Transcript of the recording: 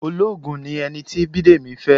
Ológun ni ẹni tí Bidemi fẹ́.